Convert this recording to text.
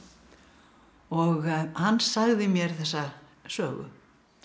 og hann sagði mér þessa sögu